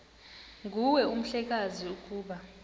nguwe mhlekazi ukuba